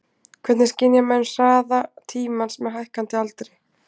Hvernig skynja menn hraða tímans með hækkandi aldri?